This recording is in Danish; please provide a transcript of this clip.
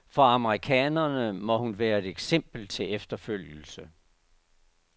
For amerikanerne må hun være et eksempel til efterfølgelse.